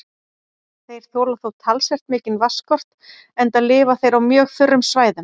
Þeir þola þó talsvert mikinn vatnsskort enda lifa þeir á mjög þurrum svæðum.